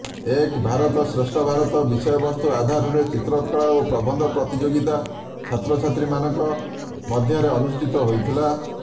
ଏକ୍ ଭାରତ ଶ୍ରେଷ୍ଠ ଭାରତ ବିଷୟବସ୍ତୁ ଆଧାରରେ ଚିତ୍ରକଳା ଓ ପ୍ରବନ୍ଧ ପ୍ରତିଯୋଗିତା ଛାତ୍ରଛାତ୍ରୀମାନଙ୍କ ମଧ୍ୟରେ ଅନୁଷ୍ଠିତ ହୋଇଥିଲା